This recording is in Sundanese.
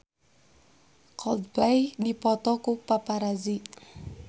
Coldplay dipoto ku paparazi